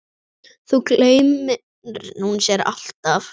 Þá gleymir hún sér alltaf.